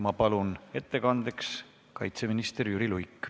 Ma palun ettekandeks kaitseminister Jüri Luige.